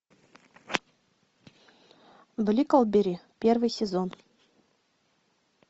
бриклберри первый сезон